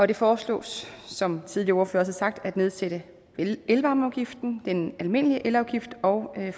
det foreslås som tidligere ordførere også har sagt at nedsætte elvarmeafgiften den almindelige elafgift og at